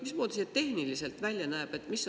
Mismoodi see tehniliselt välja näeb?